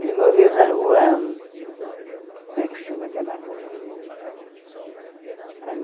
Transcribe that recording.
Ele morreu na rua... Como é que chama aquela rua? Ãh